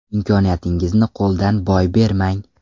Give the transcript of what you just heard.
Imkoniyatingizni qo‘ldan boy bermang.